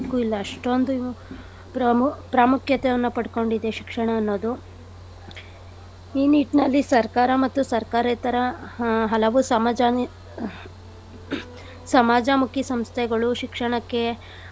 ಇಲ್ಲ ಅಷ್ಟೊಂದು ಪ್ರಮು~ ಪ್ರಾಮುಖ್ಯತೆಯನ್ನ ಪಡ್ಕೊಂಡಿದೆ ಶಿಕ್ಷಣ ಅನ್ನೋದು. ಈ ನಿಟ್ನಲ್ಲಿ ಸರ್ಕಾರ ಮತ್ತು ಸರ್ಕಾರೇತರ ಹಾ ಹಲವು ಸಮಾಜ ಸಮಾಜಮುಖಿ ಸಂಸ್ಥೆಗಳು ಶಿಕ್ಷಣಕ್ಕೆ.